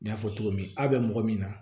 N y'a fɔ cogo min a be mɔgɔ min na